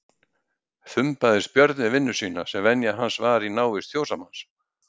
Þumbaðist Björn við vinnu sína sem venja hans var í návist fjósamanns.